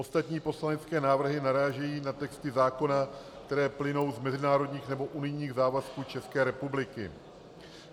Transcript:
Ostatní poslanecké návrhy narážejí na texty zákona, které plynou z mezinárodních nebo unijních závazků České republiky.